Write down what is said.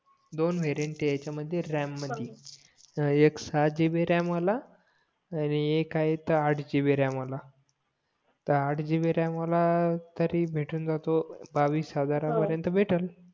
दोन व्हेरिएंट आहे ह्याच्या मध्ये रॅम मधी एक सहा जीबी रॅम वाला अंडी एक आहे तो आठ जीबी रॅम वाला तर आठ गिबि रॅम वाला तरी भेटून जातो बावीस हजार पार्यन्त भेटलं